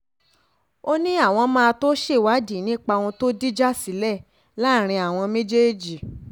ó ní àwọn máa tóó ṣèwádìí nípa ohun tó dìjà sílẹ̀ láàrin àwọn méjèèjì